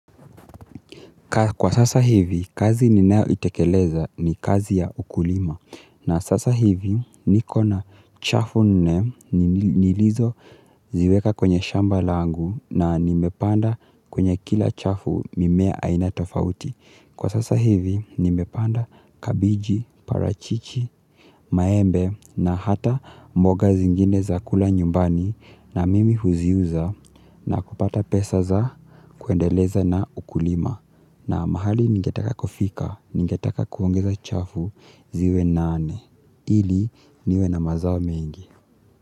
Kwa sasa hivi kazi ninao itekeleza ni kazi ya ukulima na sasa hivi nikona chafu nne nilizo ziweka kwenye shamba langu na nimepanda kwenye kila chafu mimea aina tofauti. Kwa sasa hivi, nimepanda kabiji, parachichi, maembe na hata mboga zingine za kula nyumbani na mimi huziuza na kupata pesa za kuendeleza na ukulima na mahali ningetaka kufika, ngetaka kuongeza chafu ziwe nane, ili niwe na mazao mengi.